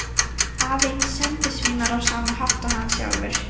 Aðeins sendisveinar á sama hátt og hann sjálfur.